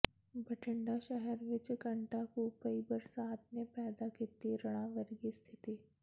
ਬਠਿੰਡਾ ਸ਼ਹਿਰ ਵਿਚ ਘੰਟਾ ਕੁ ਪਈ ਬਰਸਾਤ ਨੇ ਪੈਦਾ ਕੀਤੀ ਹੜ੍ਹਾਂ ਵਰਗੀ ਸਥਿਤੀ